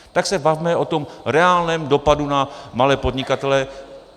Tak se bavme o tom reálném dopadu na malé podnikatele.